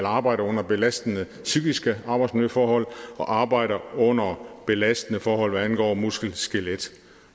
arbejder under belastende psykiske arbejdsmiljøforhold og arbejder under belastende forhold hvad angår muskelskelet